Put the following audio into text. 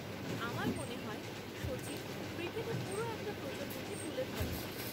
আমার মনে হয় সচিন ক্রিকেটে পুরো একটা প্রজন্মকে তুলে ধরেন।